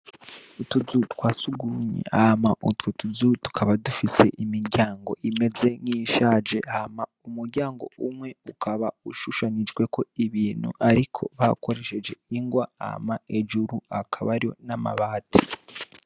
Utuzu twa surwumwe hama utwo tuzu tukaba dufise imiryango imeze nk'iyishaje. Hama umuryango umwe ukaba ushushanijeko ibintu ariko hakoreshejwe ingwa, hama hejuru hakaba hari n'amabati.